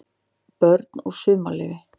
BÖRN OG SUMARLEYFI